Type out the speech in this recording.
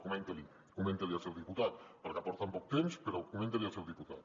comenti l’hi comenti l’hi al seu diputat perquè porten poc temps però comenti l’hi al seu diputat